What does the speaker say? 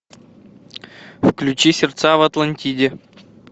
включи сердца в атлантиде